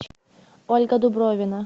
ольга дубровина